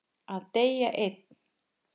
Að deyja einn.